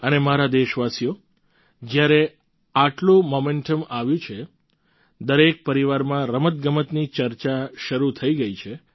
અને મારા દેશવાસીઓ જ્યારે આટલું મોમેન્ટમ આવ્યું છે દરેક પરિવારમાં રમતગમતની ચર્ચા શરૂ થઈ ગઈ છે